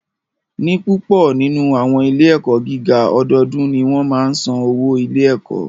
Ní púpọ nínú àwọn ilé ẹ̀kọ́ gíga, ọdọọdún ni wọ́n máa ń san owó ilé ẹ̀kọ́